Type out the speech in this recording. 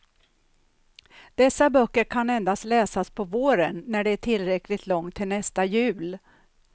Dessa böcker kan endast läsas på våren när det är tillräckligt långt till nästa jul.